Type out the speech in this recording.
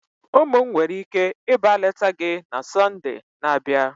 Ụmụ m nwere ike ịba leta gị na Sọnde na-abịa?